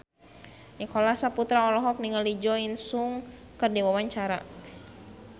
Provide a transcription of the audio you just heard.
Nicholas Saputra olohok ningali Jo In Sung keur diwawancara